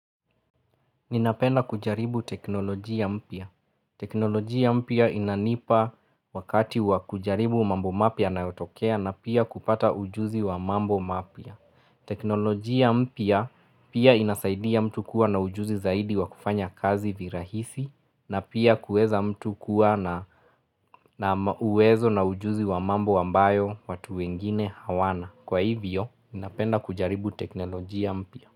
Ninapenda kujaribu teknolojia mpya. Teknolojia mpya inanipa wakati wa kujaribu mambo mapya yanayotokea na pia kupata ujuzi wa mambo mapya. Teknolojia mpya pia inasaidia mtu kuwa na ujuzi zaidi wa kufanya kazi virahisi na pia kuweza mtu kuwa na uwezo na ujuzi wa mambo ambayo watu wengine hawana. Kwa hivyo, ninapenda kujaribu teknolojia mpya.